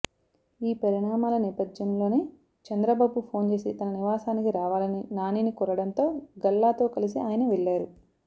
ఈ పరిమాణాల నేపథ్యంలోనే చంద్రబాబు ఫోన్ చేసి తన నివాసానికి రావాలని నానిని కోరడంతో గల్లాతో కలిసి ఆయన వెళ్లారు